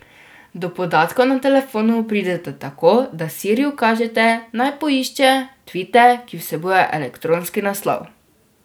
Do podatkov na telefonu pridete tako, da Siri ukažete, naj poišče tvite, ki vsebujejo elektronski naslov.